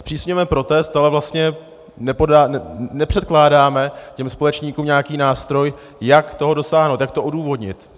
Zpřísňujeme protest, ale vlastně nepředkládáme těm společníkům nějaký nástroj, jak toho dosáhnout, jak to odůvodnit.